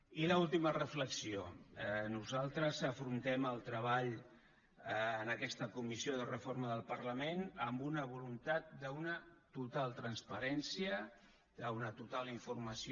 i l’última reflexió nosaltres afrontem el treball en aquesta comissió de reforma del parlament amb una voluntat d’una total transparència d’una total informació